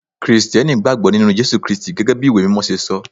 Kirìtẹ́nì gbàgbó nínú Jésù Kristi gẹ́gẹ́ bí ìwé mímọ ṣe sọ.